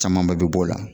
Camanba bɛ bɔ o la